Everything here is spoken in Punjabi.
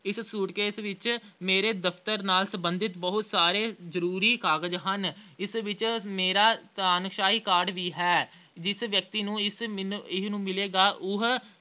ਇਸ suitcase ਵਿੱਚ ਮੇਰੇ ਦਫ਼ਤਰ ਨਾਲ ਸਬੰਧਿਤ ਬਹੁਤ ਸਾਰੇ ਜ਼ਰੂਰੀ ਕਾਗਜ਼ ਹਨ ਇਸ ਵਿੱਚ ਮੇਰਾ ਅਹ ID card ਵੀ ਹੈ ਜਿਸ ਵਿਅਕਤੀ ਨੂੰ ਇਸ ਮਿਲ ਅਹ ਮਿਲੇਗਾ ਉਹ